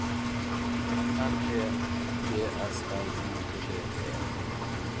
N E D S L I T T E